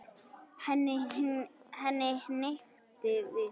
Henni hnykkti við.